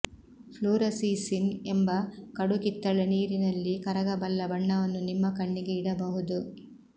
fluorescein ಎಂಬ ಕಡು ಕಿತ್ತಳೆ ನೀರಿನಲ್ಲಿ ಕರಗಬಲ್ಲ ಬಣ್ಣವನ್ನು ನಿಮ್ಮ ಕಣ್ಣಿಗೆ ಇಡಬಹುದು